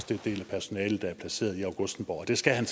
den del af personalet der er placeret i augustenborg det skal han